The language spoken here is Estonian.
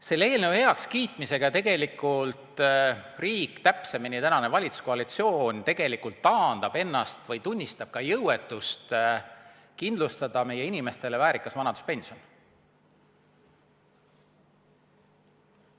Selle eelnõu heakskiitmisega tegelikult riik, täpsemini, tänane valitsuskoalitsioon taandab ennast sellest või tunnistab ka jõuetust kindlustada meie inimestele väärikas vanaduspension.